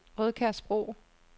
Rødkærsbro